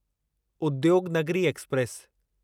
Udyognagari express